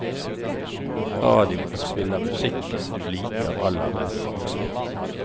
Radioen spiller musikken du liker aller best.